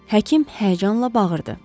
Həkim həyəcanla bağırdı.